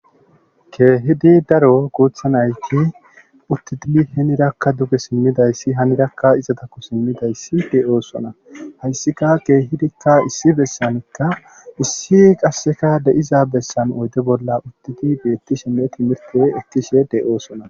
Keehidi daro guuththa nayti uttidi hinirakka duge simidayssi hanirakka izatakko simidayssi de7oosona haysika keehidikka issi bessanikka issi qasseka de7iza bessan oyde bolla uttidi beettishenne timirte ekkishe de7oosona.